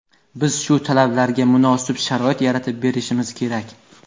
Biz shu talablarga munosib sharoit yaratib berishimiz kerak.